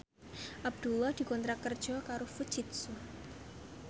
Abdullah dikontrak kerja karo Fujitsu